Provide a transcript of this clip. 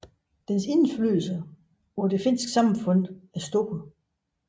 Dens indflydelse på det finske samfund er stor